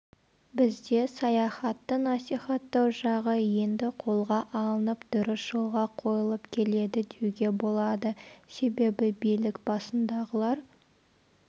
бізде саяхатты насихаттау жағы енді қолға алынып дұрыс жолға қойылып келеді деуге болады себебі билік басындағылар